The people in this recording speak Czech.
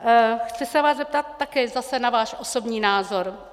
Chci se vás zeptat také zase na váš osobní názor.